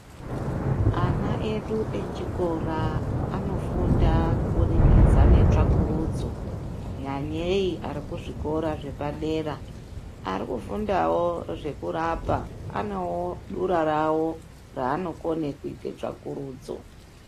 Ana edu echikora anofunda kuburikidza ngetsvakurudza nyanyei arikuzvikora zvepadera arikufundawo zvekurapa ane durawo ranokone kuita tsvakurudzo.